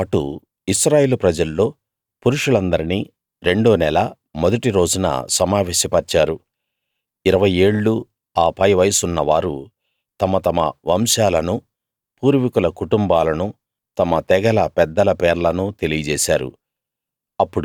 వీళ్ళతో పాటు ఇశ్రాయేలు ప్రజల్లో పురుషులందరినీ రెండో నెల మొదటి రోజున సమావేశపర్చారు ఇరవై ఏళ్ళూ ఆ పై వయసున్న వారు తమ తమ వంశాలనూ పూర్వీకుల కుటుంబాలనూ తమ తెగల పెద్దల పేర్లనూ తెలియజేసారు